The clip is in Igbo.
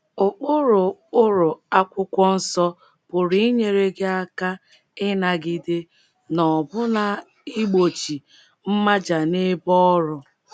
Ụkpụrụ Ụkpụrụ akwụkwọ nsọ pụrụ inyere gị aka ịnagide — na ọbụna igbochi — mmaja n’ebe ọrụ.